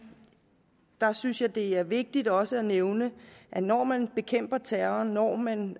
der synes jeg det er vigtigt også at nævne at når man bekæmper terror og når man